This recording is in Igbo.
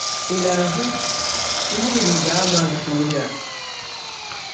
Ị̀ na-ahụ “ihe ịrịba ama nke oge a”?